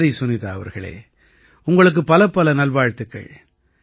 சரி சுனிதா அவர்களே உங்களுக்கு பலப்பல நல்வாழ்த்துக்கள்